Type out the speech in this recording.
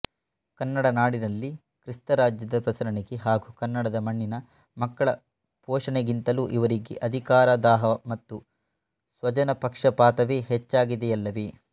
ಕನ್ನಡನಾಡಿನಲ್ಲಿ ಕ್ರಿಸ್ತರಾಜ್ಯದ ಪ್ರಸರಣೆಗೆ ಹಾಗೂ ಕನ್ನಡದ ಮಣ್ಣಿನ ಮಕ್ಕಳ ಪೋಷಣೆಗಿಂತಲೂ ಇವರಿಗೆ ಅಧಿಕಾರದಾಹ ಮತ್ತು ಸ್ವಜನಪಕ್ಷಪಾತವೇ ಹೆಚ್ಚಾಗಿದೆಯಲ್ಲವೇ